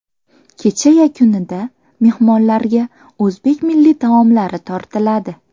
Kecha yakunida mehmonlarga o‘zbek milliy taomlari tortiladi.